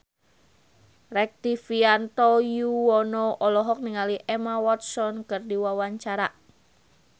Rektivianto Yoewono olohok ningali Emma Watson keur diwawancara